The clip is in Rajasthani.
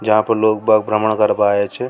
यहां पर लोग बाग़ भ्रमण करवा आया छ।